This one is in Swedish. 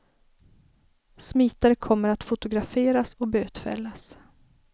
Smitare kommer att fotograferas och bötfällas.